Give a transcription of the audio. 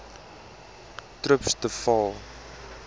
trips de waal